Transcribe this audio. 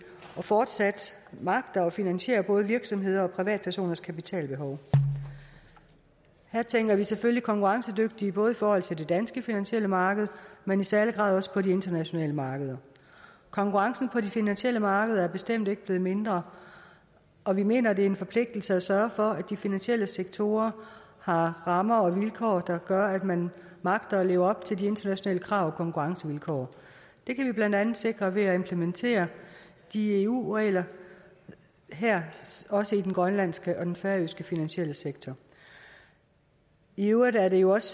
og fortsat magter at finansiere både virksomheders og privatpersoners kapitalbehov her tænker vi selvfølgelig konkurrencedygtige både i forhold til det danske finansielle marked men i særlig grad også på de internationale markeder konkurrencen på de finansielle markeder er bestemt ikke blevet mindre og vi mener det er en forpligtelse at sørge for at de finansielle sektorer har rammer og vilkår der gør at man magter at leve op til de internationale krav og konkurrencevilkår det kan vi blandt andet sikre ved at implementere de eu regler her også i den grønlandske og den færøske finansielle sektor i øvrigt er det jo også